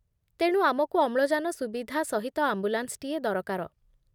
ତେଣୁ, ଆମକୁ ଅମ୍ଳଜାନ ସୁବିଧା ସହିତ ଆମ୍ବୁଲାନ୍ସଟିଏ ଦରକାର।